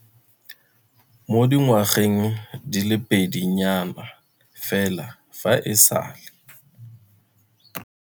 Mo dingwageng di le pedi nyana fela fa e sale.